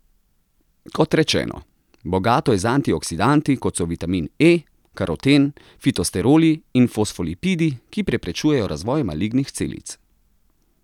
Kot rečeno, bogato je z antioksidanti, kot so vitamin E, karoten, fitosteroli in fosfolipidi, ki preprečujejo razvoj malignih celic.